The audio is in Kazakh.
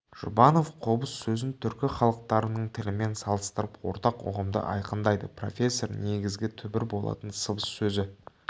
жұбанов қобыз сөзін түркі халықтарының тілімен салыстырып ортақ ұғымды айқындайды профессор негізі түбір болатын сыбыз сөзі